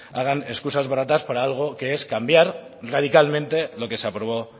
hagan escusas baratas para algo que es cambiar radicalmente lo que se aprobó